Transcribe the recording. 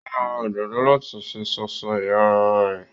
Ó máa ra òdòdó láti fi sọ̀sọ́ iyàrá rẹ.